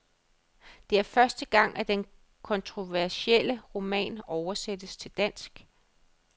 Det er første gang, at den kontroversielle roman oversættes til dansk.